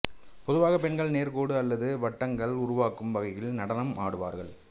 பொதுவாக பெண்கள் நேர்க்கோடு அல்லது வட்டங்கள் உருவாக்கும் வகையில் நடனம் ஆடுவார்கள்